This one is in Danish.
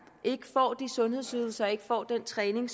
ikke får de sundhedsydelser og ikke får den træning